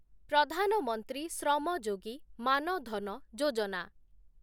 Pradhan Mantri Shram Yogi Maan Dhan Yojana